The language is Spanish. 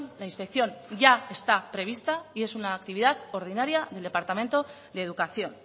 la inspección ya está prevista y es una actividad ordinaria del departamento de educación